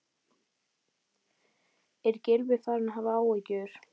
Er Gylfi farinn að hafa áhyggjur?